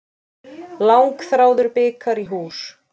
Langþráður bikar í hús